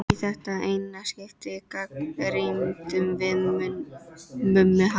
Í þetta eina skipti gagnrýndum við Mummi hana.